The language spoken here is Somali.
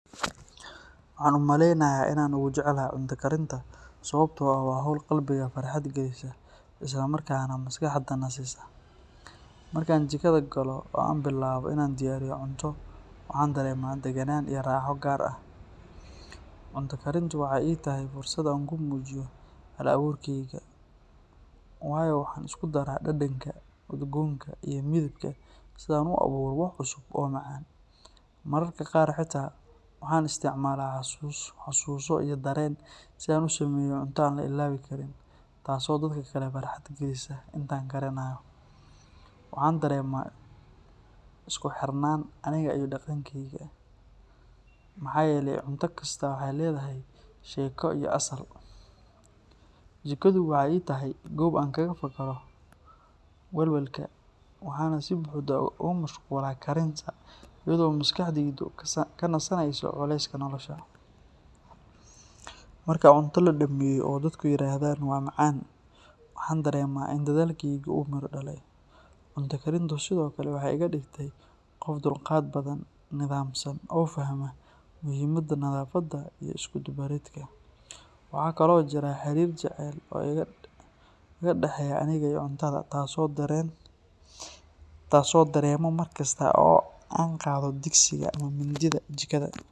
Waxaan u maleynayaa in aan ugu jecelahay cunto karinta sababtoo ah waa hawl qalbiga farxad galisa isla markaana maskaxda nasisa. Marka aan jikada galo oo aan bilaabo in aan diyaariyo cunto, waxaan dareemaa deganaan iyo raaxo gaar ah. Cunto karintu waxay ii tahay fursad aan ku muujiyo hal-abuurkeyga, waayo waxaan isku daraa dhadhanka, udgoonka iyo midabka si aan u abuuro wax cusub oo macaan. Mararka qaar xitaa waxaan isticmaalaa xasuuso iyo dareen si aan u sameeyo cunto aan la ilaawi karin, taas oo dadka kale farxad galisa. Inta aan karinayo, waxaan dareemaa isku xirnaan aniga iyo dhaqankeyga, maxaa yeelay cunto kastaa waxay leedahay sheeko iyo asal. Jikadu waxay ii tahay goob aan kaga fakaro walwalka, waxaana si buuxda ugu mashquulaa karinta iyadoo maskaxdaydu ka nasanayso culayska nolosha. Marka cunto la dhammeeyo oo dadku yiraahdaan “waa macaan”, waxaan dareemaa in dadaalkaygii uu miro dhalay. Cunto karintu sidoo kale waxay iga dhigtay qof dulqaad badan, nidaamsan oo fahma muhiimadda nadaafadda iyo isku dubbaridka. Waxaa kaloo jira xiriir jacayl oo iga dhexeeya aniga iyo cuntada, taas oo aan dareemo markasta oo aan qaado digsiga ama mindida jikada.